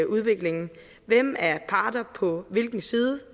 udviklingen hvem er parter på hvilken side